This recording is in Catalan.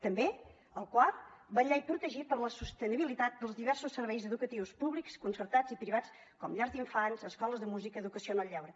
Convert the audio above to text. també el quart vetllar i protegir la sostenibilitat dels diversos serveis educatius públics concertats i privats com llars d’infants escoles de música educació en el lleure